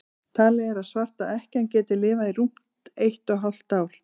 talið er að svarta ekkjan geti lifað í rúmt eitt og hálft ár